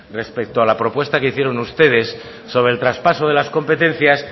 respecto a la propuesta que hicieron ustedes sobre el traspaso de las competencias